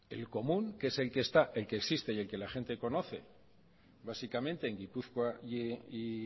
el común que es el que está el que existe y el que la gente conoce básicamente en gipuzkoa y